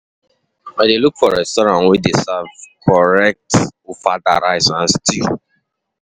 My colleague dey um advise um me to try out new suya joint for um Abuja.